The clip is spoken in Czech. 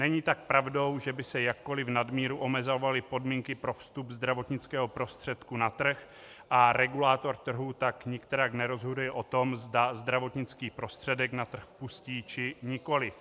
Není tak pravdou, že by se jakkoliv nadmíru omezovaly podmínky pro vstup zdravotnického prostředku na trh, a regulátor trhu tak nikterak nerozhoduje o tom, zda zdravotnický prostředek na trh pustí, či nikoliv.